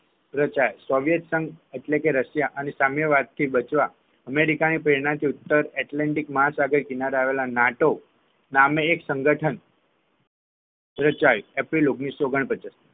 રચાયા ચોઈસંગ એટલે કે રશિયા અને સામ્યવાદ થી બચવા અમેરિકાની પ્રેરણાથી ઉત્તર એટલાન્ટિક મહાસાગર કિનારે આવેલા નાટો નામ એક સંગઠન રચાયું એપ્રિલ ઓગણીસોઓગણપચાસ